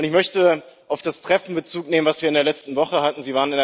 Ich möchte auf das Treffen Bezug nehmen, das wir in der letzten Woche hatten.